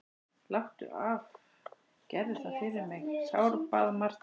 Láttu af, gerðu það fyrir mig, sárbað Marta.